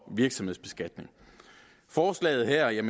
virksomhedsbeskatning forslaget her